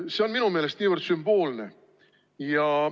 See on minu meelest niivõrd sümboolne.